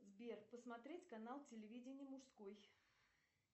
сбер посмотреть канал телевидения мужской